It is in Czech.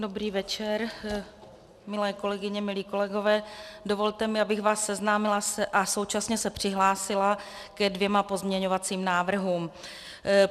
Dobrý večer, milé kolegyně, milí kolegové, dovolte mi, abych vás seznámila a současně se přihlásila ke dvěma pozměňovacím návrhům.